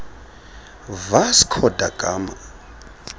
vasco da gama